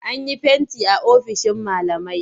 An yi fenti a ofishin malamai.